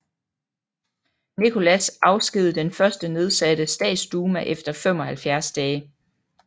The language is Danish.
Nicholas afskedigede den første nedsatte statsduma efter 75 dage